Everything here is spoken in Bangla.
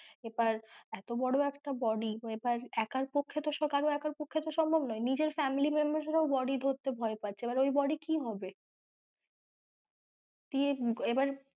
এবার এতো বড় একটা body একার পক্ষে তো কারোর একার পক্ষে তো সম্ভব নয় নিজের family member রাও body ধরতে ভয় পাচ্ছে এবার ওই body কী হবে দিয়ে এবার,